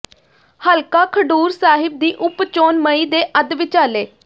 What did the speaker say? ਹਲਕਾ ਖਡੂਰ ਸਾਹਿਬ ਦੀ ਉਪ ਚੋਣ ਮਈ ਦੇ ਅੱਧ ਵਿਚਾਲੇ